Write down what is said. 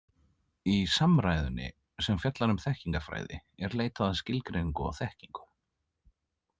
Í samræðunni, sem fjallar um þekkingarfræði, er leitað að skilgreiningu á þekkingu.